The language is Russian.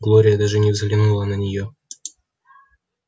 глория даже не взглянула на неё